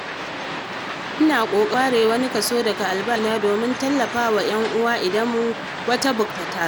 Ina ƙoƙarin ware wani kaso daga albashina domin tallafa wa 'yan uwa idan wata buƙata ta taso.